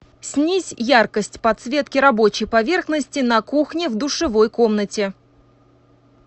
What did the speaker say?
снизь яркость подсветки рабочей поверхности на кухне в душевой комнате